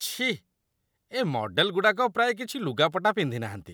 ଛି! ଏ ମଡ଼େଲ୍‌ଗୁଡ଼ାକ ପ୍ରାୟ କିଛି ଲୁଗାପଟା ପିନ୍ଧିନାହାନ୍ତି ।